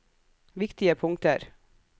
viktige punkter